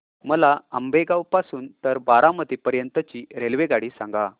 मला आंबेगाव पासून तर बारामती पर्यंत ची रेल्वेगाडी सांगा